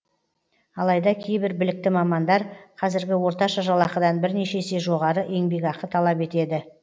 алайда кейбір білікті мамандар қазіргі орташа жалақыдан бірнеше есе жоғары еңбекақы талап етеді